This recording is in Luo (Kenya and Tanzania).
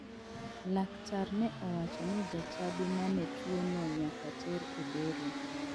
Laktar ne owacho ni jachadi mane tuono nyaka ter e bero.